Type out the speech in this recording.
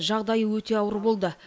жағдайы өте ауыр болды